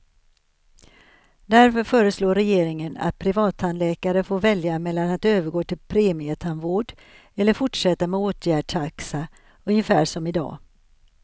Därför föreslår regeringen att privattandläkare får välja mellan att övergå till premietandvård eller fortsätta med åtgärdstaxa, ungefär som i dag.